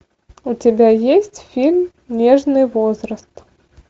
у тебя есть фильм нежный возраст